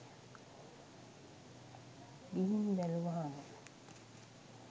ගිහින් බැලුවහම